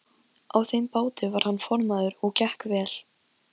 Senía, ég kom með níutíu og sex húfur!